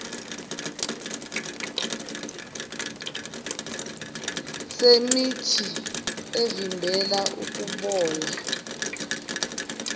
semithi evimbela ukubola